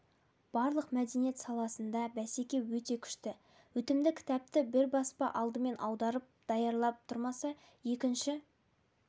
барлық мәдениет саласында бәсеке өте күшті өтімді кітапты бір баспа алдымен аударып даярлап тұрмаса екінші